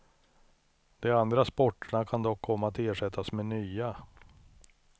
De andra sporterna kan dock komma att ersättas med nya.